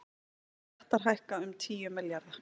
Skattar hækka um tíu milljarða